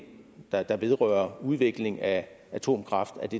der der vedrører udvikling af atomkraft